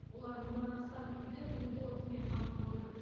олар мыңнан астам үйді көгілдір отынмен қамтып отыр